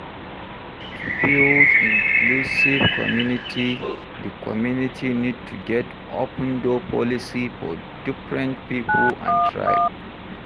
To build inclusive community, di community need to get open door policy for different pipo and tribe